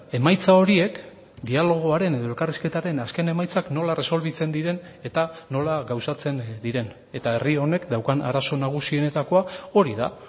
emaitza horiek dialogoaren edo elkarrizketaren azken emaitzak nola erresolbitzen diren eta nola gauzatzen diren eta herri honek daukan arazo nagusienetakoa hori da